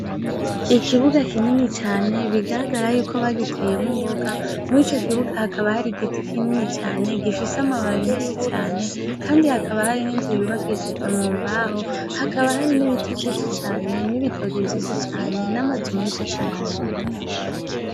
Ikibuga kinini cane bigaragara yukwo bagiteyemwo imboga, mw' ico kibuga hakaba hari igiti kinini cane, gifise amababi menshi cane, kandi hakaba hari n' inzu yubakishijwe mu mbaho , hakaba hari n' ibiti vyinshi cane, n' ibitoki vyinshi cane, n' amazu menshi cane.